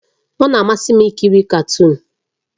Ọ na-amasị m ikiri katuun